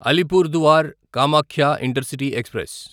Alipurduar Kamakhya intercity express